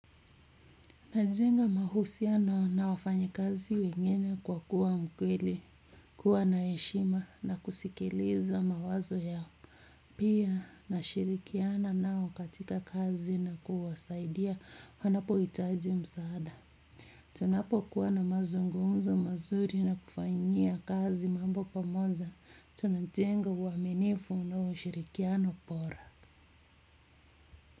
Najenga mahusiano na wafanya kazi wengine kwa kuwa mkweli, kuwa na heshima na kusikiliza mawazo yao. Pia, nashirikiana nao katika kazi na kuwasaidia wanapo hitaji msaada. Tunapo kuwa na mazungumzo mazuri na kufanyia kazi mambo pamoja, tunajenga uaminifu na ushirikiano bora.